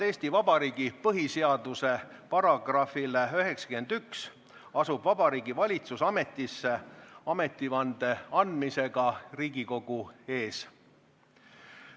Eesti Vabariigi põhiseaduse § 91 järgi asub Vabariigi Valitsus ametisse ametivande andmisega Riigikogu ees.